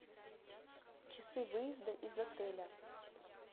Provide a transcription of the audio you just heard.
часы выезда из отеля